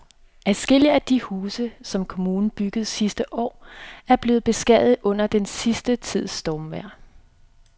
Adskillige af de huse, som kommunen byggede sidste år, er blevet beskadiget under den sidste tids stormvejr.